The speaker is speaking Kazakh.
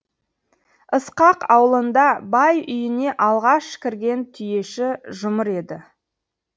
ысқақ аулында бай үйіне алғаш кірген түйеші жұмыр еді